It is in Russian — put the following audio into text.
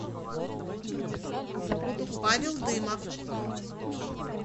павел дымов